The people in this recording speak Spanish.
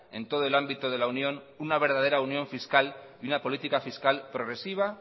en todo el ámbito de la unión una verdadera unión fiscal y una política fiscal progresiva